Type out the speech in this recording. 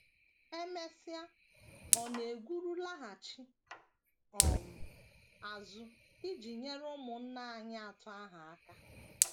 E mesịa, ọ na - egwuru laghachi um azụ iji nyere ụmụnna nwanyị atọ ahụ aka.